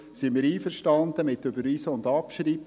Wir sind einverstanden mit Überweisen und Abschreiben.